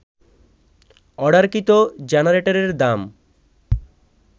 অর্ডারকৃত জেনারেটরের দাম